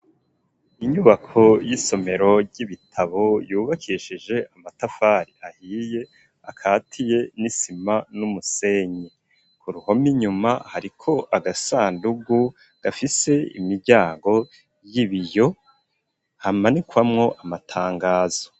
Inyubako y'isomero ry'ibitabo yubakishije amatafari ahiye akatiye n'isima n'umusenyi ku ruhome inyuma hariko agasandugu gafise imiryango y'ibiyo hamanikwamo amatangazo.